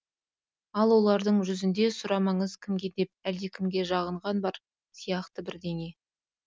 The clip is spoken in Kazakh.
ал олардың жүзінде сұрамаңыз кімге деп әлдекімге жағынған бар сияқты бірдеңе